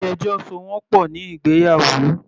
Ilé ẹjọ́ so wọ́n pọ̀ ní ìgbéyàwó.